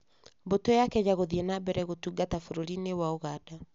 Mbũtũ ya Kenya gũthiĩ na mbere gũtungata bũrũri-inĩ wa Ũganda.